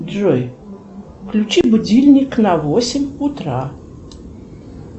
джой включи будильник на восемь утра